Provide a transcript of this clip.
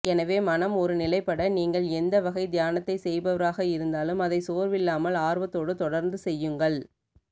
எனவே மனம் ஒரு நிலைப்பட நீங்கள் எந்த வகை தியானத்தை செய்பவராக இருந்தாலும் அதை சோர்வில்லாமல் ஆர்வத்தோடு தொடர்ந்து செய்யுங்கள்